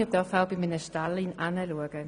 Man soll auch bei einem Stall hinsehen.